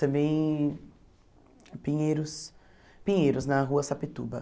Também em Pinheiros Pinheiros, na Rua Sapituba.